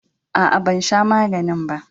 Aa, ban sha maganin ba.